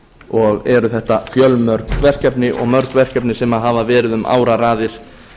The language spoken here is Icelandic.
og eru þetta fjölmörg verkefni og mörg verkefni sem hafa verið um áraraðir